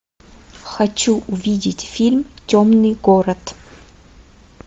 хочу увидеть фильм темный город